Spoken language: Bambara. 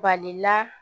Balila